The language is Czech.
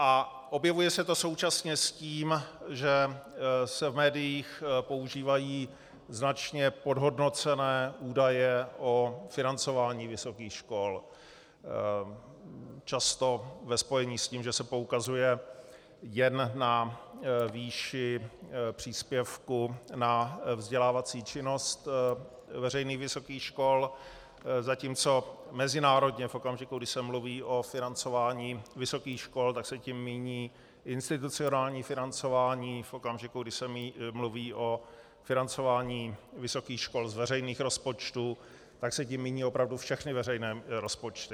A objevuje se to současně s tím, že se v médiích používají značně podhodnocené údaje o financování vysokých škol, často ve spojení s tím, že se poukazuje jen na výši příspěvku na vzdělávací činnost veřejných vysokých škol, zatímco mezinárodně v okamžiku, kdy se mluví o financování vysokých škol, tak se tím míní institucionální financování, v okamžiku, kdy se mluví o financování vysokých škol z veřejných rozpočtů, tak se tím míní opravdu všechny veřejné rozpočty.